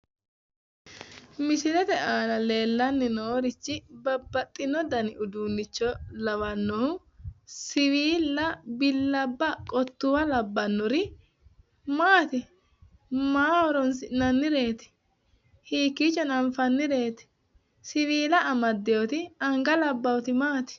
Misilete aana leellanni noorichi babbaxxino dani uduunnicho lawannohu siwiilla, billabba, qottuwwa labbannori maati? Maaho horoonsi'nannireeti? Hiikkiichono anfannireet? Siwiila amadeyoti anga labbayoti maati?